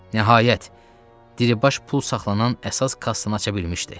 Nəhayət, Dilibaş pul saxlanan əsas kassanı aça bilmişdi.